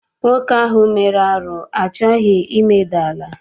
Nwoke ahụ mere arụ achọghị imeda ala.